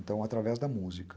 Então, através da música.